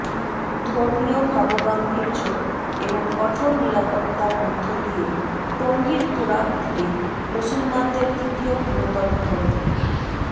ধর্মীয় ভাবগাম্ভীর্য এবং কঠোর নিরাপত্তার মধ্যদিয়ে টঙ্গীর তুরাগ তীরে মুসলমানদের দ্বিতীয় বৃহত্তম ধর্মীয়